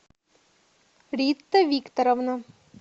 рита викторовна